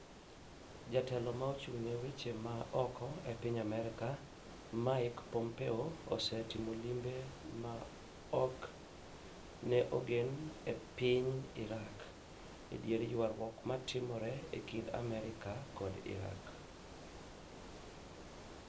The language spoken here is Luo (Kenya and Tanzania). Jatelo ma ochung' ne weche ma oko e piny Amerka, Mike pompeo, osetimo limbe ma ok ne ogen e piny Iraq e dier yuarwuok ma timore e kind Amerka kod Iraq